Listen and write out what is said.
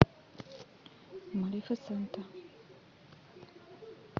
малефисента